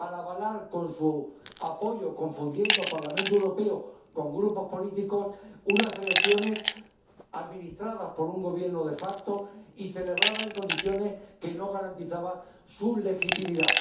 para avalar con su apoyo, confundiendo Parlamento Europeo con grupos políticos, unas elecciones administradas por un Gobierno y celebradas en condiciones que no garantizaban su legitimidad.